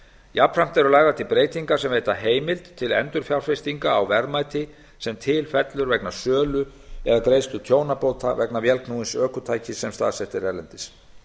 jafnframt eru lagðar til breytingar sem veita heimild til endurfjárfestinga á verðmæti sem til fellur vegna sölu eða greiðslu tjónabóta vegna vélknúins ökutækis sem staðsett er erlendis